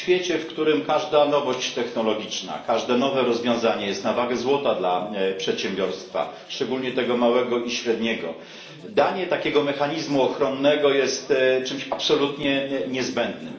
W świecie, w którym każda nowość technologiczna, każde nowe rozwiązanie jest na wagę złota dla przedsiębiorstwa, szczególnie tego małego i średniego, danie takiego mechanizmu ochronnego jest czymś absolutnie niezbędnym.